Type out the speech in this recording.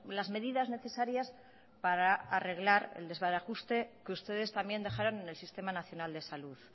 las medidas necesarias para arreglar el desbarajuste que ustedes también dejaron en el sistema nacional de salud